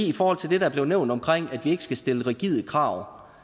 i forhold til det der blev nævnt om at vi ikke skal stille rigide krav